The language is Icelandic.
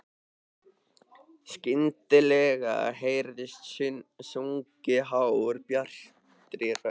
Skyndilega heyrist sungið hárri, bjartri röddu.